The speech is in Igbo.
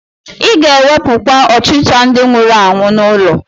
Ị ga-ewepụkwa ọchịcha ndị nwụrụ anwụ n'ụlọ